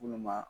Munnu ma